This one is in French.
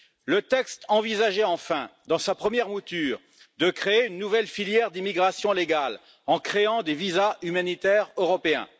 Le texte envisageait enfin, dans sa première mouture, de créer une nouvelle filière d'immigration légale, en créant des visas humanitaires européens.